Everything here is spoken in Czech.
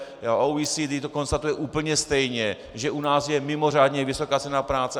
OECD to konstatuje úplně stejně, že u nás je mimořádně vysoká cena práce.